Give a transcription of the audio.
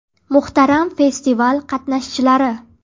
Muhtaram festival qatnashchilari!